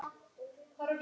Dyrnar í hálfa gátt.